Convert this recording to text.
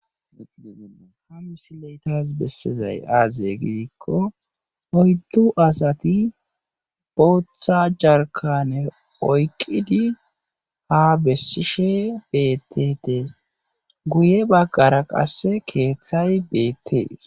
Ha misile tas besizay aaze giiko oydu asati booththa jarkkane oyqqidi ha besishe beetetees. Guye bagara qasse keeththay beetees.